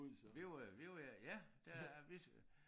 Vi var jo vi var jo ja der vi